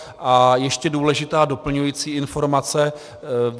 A ještě důležitá doplňující informace.